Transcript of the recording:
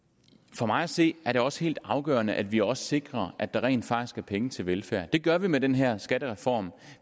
for mig at se er det også helt afgørende at vi også sikrer at der rent faktisk er penge til velfærd det gør vi med den her skattereform